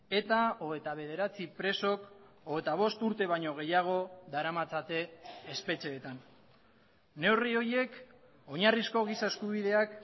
eta hogeita bederatzi presok hogeita bost urte baino gehiago daramatzate espetxeetan neurri horiek oinarrizko giza eskubideak